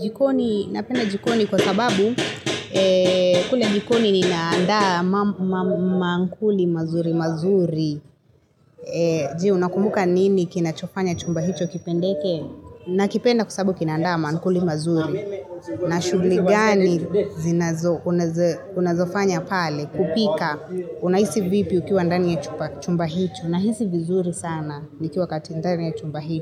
jikoni. Napenda jikoni kwa sababu kule jikoni ni naandaa mankuli mazuri mazuri. Juu unakumbuka nini kinachofanya chumba hicho kipendeke na kipenda kwasababu kinandaa ma ankuli mazuri na shugli gani zinazo Unazofanya pale kupika Unaisi vipi ukiwa ndani ya chumba hicho Unaisi vizuri sana ni kiwa katindani ya chumba hicho.